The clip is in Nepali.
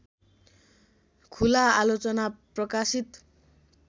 खुला आलोचना प्रकाशित